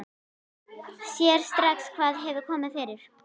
Sér strax hvað hefur komið fyrir.